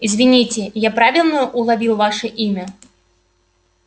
извините я правильно уловил ваше имя